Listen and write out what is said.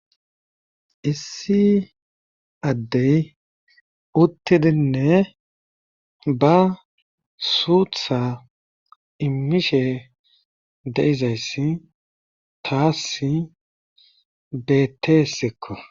Issi addey uttidinne ba suutha immishe de7izayssi taassi beettesekko.